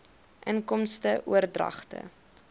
inkomste oordragte